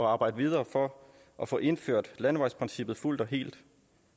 arbejde videre for at få indført landevejsprincippet fuldt og helt